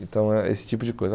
Então, é esse tipo de coisa.